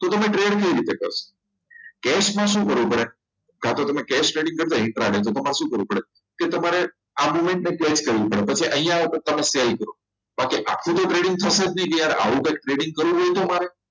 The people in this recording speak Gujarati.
તો તમે trade કેવી રીતે કરશો cash માં શું કરવું પડે કાં તો તમે કે setting કરતા તો તમારે શું કરવું પડે કે તમારે કેસ કરવી પડે પછી પછી અહીંયા આખુ તો trading થશે જ નહીં આવું કંઈ trading કરવું હોય તો અમારે